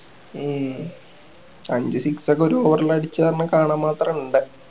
ഹും അഞ്ച് six ഒക്കെ ഒരു over ല് അടിച്ചാ ഒന്ന് കാണാൻ മാത്രം ഇണ്ട്